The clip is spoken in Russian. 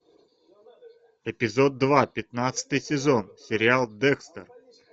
эпизод два пятнадцатый сезон сериал декстер